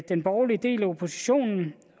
den borgerlige del af oppositionen v